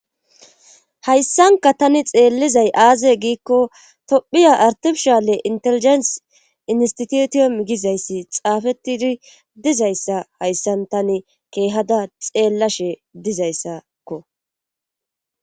hayssanka tani xeellizay aaze giikko tophiya artimshale inteligent institution gizayssi xaafettidi dizayssa hayssan tani keehada xeellashe dizayssakko